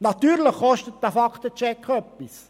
Natürlich kostet dieser Fakten-Check etwas.